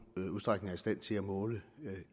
udstrækning stand til at måle